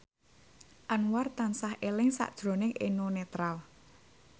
Anwar tansah eling sakjroning Eno Netral